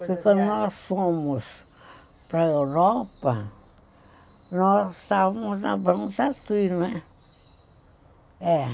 Porque quando nós fomos para a Europa, nós estávamos na banca aqui, né? É.